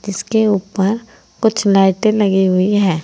इसके ऊपर कुछ लाइटे लगी हुई है।